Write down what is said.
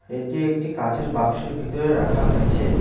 এটি একটি কাঁচের বাক্সের ভিতরে রাখা হয়েছে।